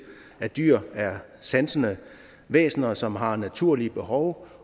at dyr er sansende væsener som har naturlige behov